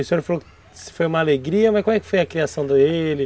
O senhor não falou se foi uma alegria, mas como é que foi a criação dele?